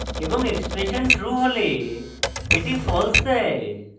এবং expression true হলে এটি false দেয়